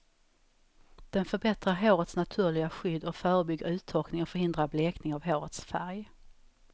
Den förbättrar hårets naturliga skydd och förebygger uttorkning och förhindrar blekning av hårets färg.